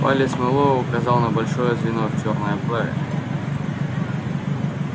палец мэллоу указал на большое звено в чёрной оправе